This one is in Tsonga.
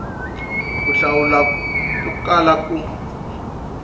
ku hlawula ko kala ku